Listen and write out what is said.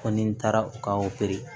Ko ni taara u ka